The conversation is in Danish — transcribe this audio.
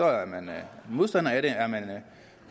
er man modstander af det